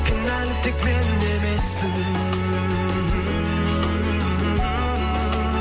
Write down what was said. кінәлі тек мен де емеспін